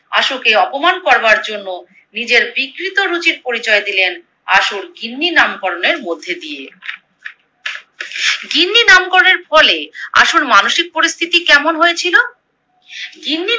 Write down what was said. আশুকে অপমান করবার জন্য নীজের বিকৃত রুচির পরিচয় দিলেন আশুর গিন্নি নামকরণের মধ্যে দিয়ে। গিন্নি নামকরণের ফলে আশুর মানসিক পরিস্থিতি কেমন হয়েছিলো?